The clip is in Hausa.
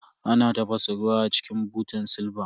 Ana tafasa ruwa a cikin butan silba.